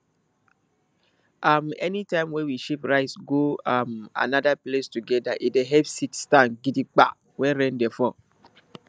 um anytime wey we shift rice go um another place together e dey help seed stand gidigba when rain dey fall